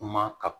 Kuma ka